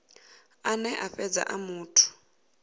ane a fhedza a muthu